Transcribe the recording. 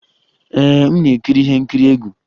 Ee, m na-ekiri ihe nkiri egwu